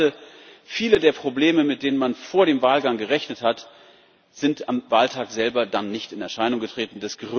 Das Zweite Viele der Probleme, mit denen man vor dem Wahlgang gerechnet hat, sind am Wahltag selber dann nicht in Erscheinung getreten.